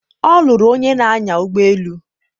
ọ lụrụ onye na-anya ụgbọelu